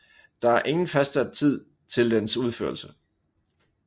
Der er ingen fastsat tid til dens udførelse